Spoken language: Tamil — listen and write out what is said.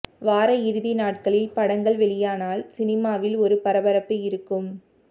வார இறுதி நாட்களில் படங்கள் வெளியானால் சினிமாவில் ஒரு பரபரப்பு இருக்கும்